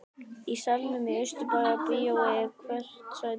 Í salnum í Austurbæjarbíói er hvert sæti skipað.